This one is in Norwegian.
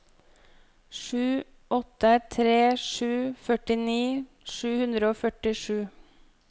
sju åtte tre sju førtini sju hundre og førtisju